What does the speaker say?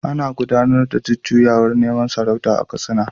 Ana gudanar da jujjuyawar neman sarauta a Katsina.